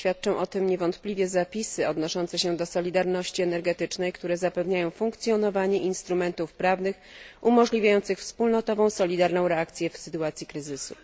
Świadczą o tym niewątpliwie zapisy odnoszące się do solidarności energetycznej, które zapewniają funkcjonowanie instrumentów prawnych umożliwiających wspólnotową, solidarną reakcję w sytuacji kryzysu.